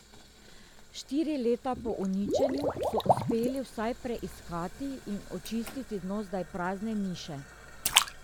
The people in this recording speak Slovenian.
Štiri leta po uničenju so uspeli vsaj preiskati in očistiti dno zdaj prazne niše.